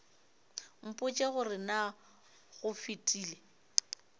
mpotše gore na go fetile